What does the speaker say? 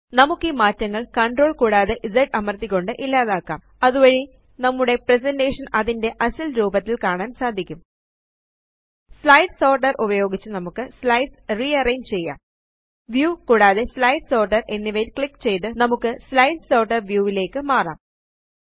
നമുക്ക് ഈ മാറ്റങ്ങള് CTRL കൂടാതെ Z അമര്ത്തിക്കൊണ്ട് ഇല്ലാതാക്കാം അതുവഴി നമ്മുടെ പ്രസന്റേഷൻ അതിന്റെ അസല് രൂപത്തില് കാണാന് സാധിക്കും വ്യൂ കൂടാതെ സ്ലൈഡ് സോർട്ടർ എന്നിവയില് ക്ലിക്ക് ചെയ്ത് നമുക്ക് സ്ലൈഡ് സോർട്ടർ വ്യൂ യിലേയ്ക്ക് മാറാം